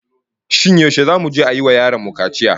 Shin yaushe zamu je a yi wa yaron mu kaciya?